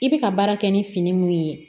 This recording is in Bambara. I bɛ ka baara kɛ ni fini mun ye